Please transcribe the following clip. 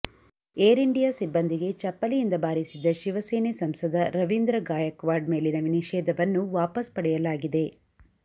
Air India ಸಿಬ್ಬಂದಿಗೆ ಚಪ್ಪಲಿಯಿಂದ ಬಾರಿಸಿದ್ದ ಶಿವಸೇನೆ ಸಂಸದ ರವೀಂದ್ರ ಗಾಯಕ್ವಾಡ್ ಮೇಲಿನ ನಿಷೇಧವನ್ನು ವಾಪಸ್ ಪಡೆಯಲಾಗಿದೆ